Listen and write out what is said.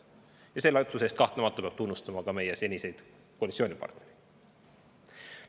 Ja selle otsuse eest peab kahtlemata tunnustama ka meie seniseid koalitsioonipartnereid.